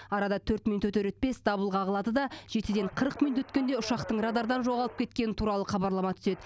арада төрт минут өтер өтпес дабыл қағылады да жетіден қырық минут өткенде ұшақтың радардан жоғалып кеткені туралы хабарлама түседі